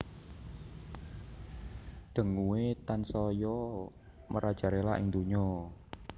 Dengue tansaya merajalela ing donya